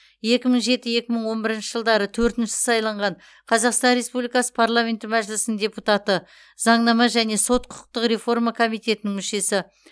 екі мың жеті екі мың он бірінші жылдары төртінші сайланған қазақстан республикасы парламенті мәжілісінің депутаты заңнама және сот құқықтық реформа комитетінің мүшесі